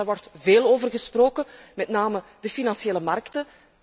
De eerste, daar wordt veel over gesproken, namelijk de financiële markten.